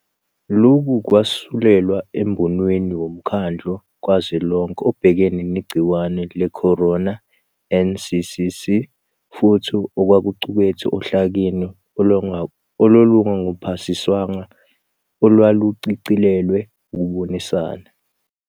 Lokhu kwakususelwa embonweni woMkhandlu Kazwelonke Obhekene Negciwane Lecorona, NCCC, futhi okwakuqukethwe ohlakeni olwalungakaphasiswa olwaluchicilelelwe ukubonisana.